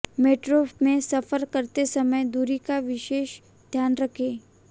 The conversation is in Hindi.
मेट्रो में सफर करते समय दूरी का विशेष ध्यान रखें